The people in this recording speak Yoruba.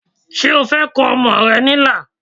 Ṣé o fẹ́ kọ ọmọ rẹ ní ilà